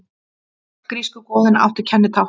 Öll grísku goðin áttu sín kennitákn.